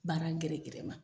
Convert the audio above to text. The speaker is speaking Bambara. Baara gɛrɛgɛrɛ ma.